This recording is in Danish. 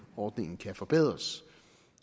ordningen kan forbedres